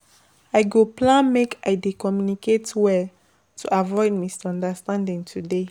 I go plan make I dey communicate well to avoid misunderstanding today.